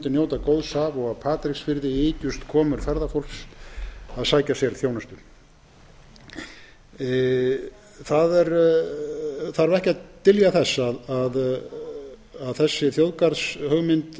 njóta góðs af og á patreksfirði ykjust komur ferðafólks að sér sækja þjónustu það þarf ekki að dyljast neinum að þessi þjóðgarðshugmynd